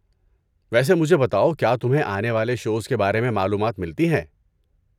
ویسے، مجھے بتاؤ، کیا تمہیں آنے والے شوز کے بارے میں معلومات ملتی ہیں؟